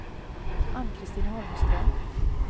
Ann-Christin Holmström